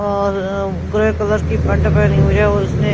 और grey colour की pant पहनी हुई है और उसने--